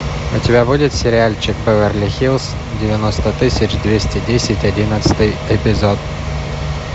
у тебя будет сериальчик беверли хиллз девяносто тысяч двести десять одиннадцатый эпизод